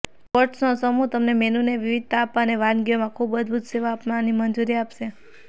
પોટ્સનો સમૂહ તમને મેનુને વિવિધતા આપવા અને વાનગીઓમાં ખૂબ અદભૂત સેવા આપવાની મંજૂરી આપશે